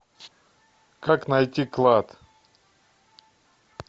как найти клад